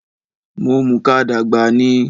Mo mùka dàgbà ni